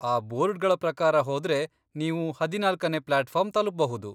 ಆ ಬೋರ್ಡ್ಗಳ ಪ್ರಕಾರ ಹೋದ್ರೆ ನೀವು ಹದಿನಾಲ್ಕನೇ ಪ್ಲಾಟ್ಫಾರ್ಮ್ ತಲುಪ್ಬಹುದು.